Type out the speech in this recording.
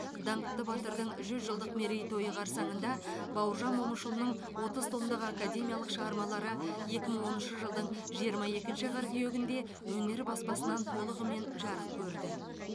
даңқты батырдың жүз жылдық мерейтойы қарсаңында бауыржан момышұлының отыз томдық академиялық шығармалары екі мың оныншы жылдың жиырма екінші қыркүйегінде өнер баспасынан толығымен жарық көрді